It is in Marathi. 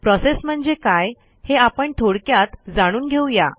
प्रोसेस म्हणजे काय हे आपण थोडक्यात जाणून घेऊ या